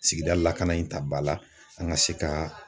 Sigida lakana in ta ba la an ka se ka